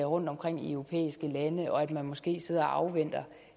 rundtomkring i europæiske lande og at man måske sidder og afventer